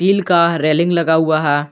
Grill का railing लगा हुआ है।